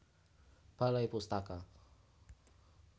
Balai Pustaka